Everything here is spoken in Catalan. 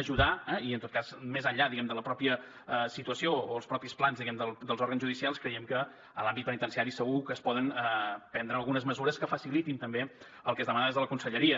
ajudar i en tot cas més enllà de la mateixa situació o els mateixos plans dels òrgans judicials creiem que a l’àmbit penitenciari segur que es poden prendre algunes mesures que facilitin també el que es demana des de la conselleria